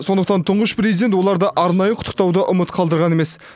сондықтан тұңғыш президент оларды арнайы құттықтауды ұмыт қалдырған емес